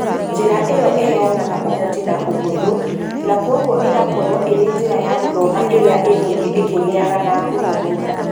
Njĩra ĩyo ĩheanaga ũhoti na ũhũthũ , na kwoguo ĩgakorũo ĩrĩ njĩra ya gũthoma ĩrĩa ĩgũthiĩ ĩkĩgĩaga na ngumo mũno.